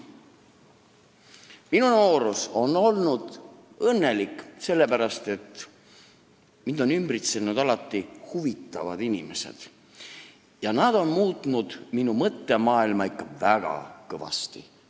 Minu noorus on olnud õnnelik, sellepärast et mind on alati ümbritsenud huvitavad inimesed ja nad on minu mõttemaailma muutnud ikka väga kõvasti.